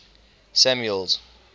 samuel's